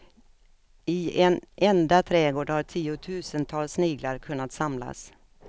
I en enda trädgård har tiotusentals sniglar kunnat samlas.